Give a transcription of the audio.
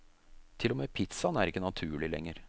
Til og med pizzaen er ikke naturlig lenger.